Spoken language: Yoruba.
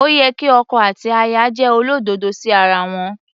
Ó yẹ kí ọkọ àti aya jẹ́ olódodo sí ara wọn.